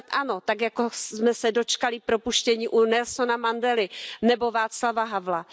Snad ano, tak jako jsme se dočkali propuštění Nelsona Mandely nebo Václava Havla.